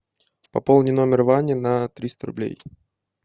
пополни номер вани на триста рублей